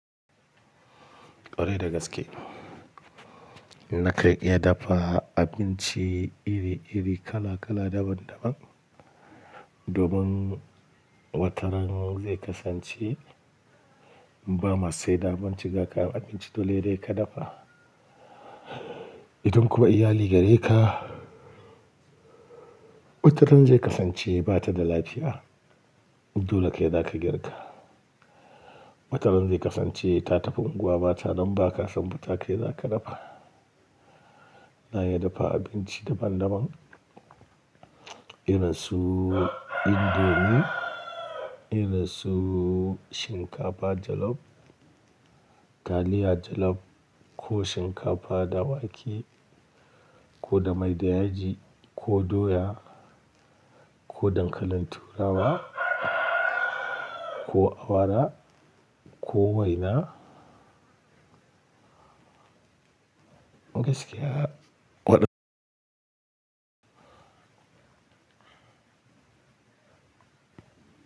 Kwarai da gaske. Naka iya dafa abinci iri-iri, kala-kala, daban-daban. Domin wataran zai kasance ba ma sai da abinci gaka abinci dole dai ka dafa. Idan kuma iyali gare ka, wataran zai kasance ba ta da lafiya. Dole kai zaka girka. Wataran zai kasance ta tafi unguwa ba ta nan ba ka san ba ta kai zaka dafa. Na iya dafa abinci daban-daban. Irin su indomie, irin su shinkafa jalof, taliya jalof ko shinkafa dawake ko da mai da yaji ko doya ko dankalin turawa ko awara ko waina. Gaskiya waɗa--